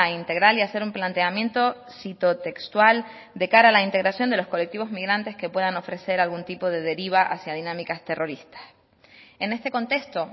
integral y hacer un planteamiento cito textual de cara a la integración de los colectivos migrantes que puedan ofrecer algún tipo de deriva hacia dinámicas terroristas en este contexto